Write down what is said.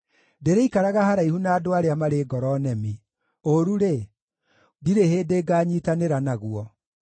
Ndĩrĩikaraga haraihu na andũ arĩa marĩ ngoro nemi; ũũru-rĩ, ndirĩ hĩndĩ ngaanyiitanĩra naguo.